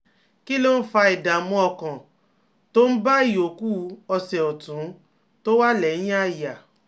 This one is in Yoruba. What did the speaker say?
Kí ló ń fa ìdààmú ọkàn tó ń bá ìyókù ọsẹ̀ ọ̀tún tó wà lẹ́yìn àyà?